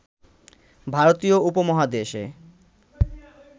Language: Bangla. ভারতীয় উপমহাদেশে